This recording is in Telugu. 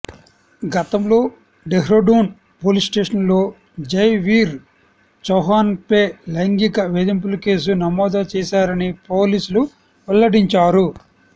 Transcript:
గతంలో డెహ్రాడూన్ పోలీస్ స్టేషన్లో జైవీర్ చౌహాన్పై లైంగిక వేధింపుల కేసు నమోదు చేశారని పోలీసులు వెల్లడించారు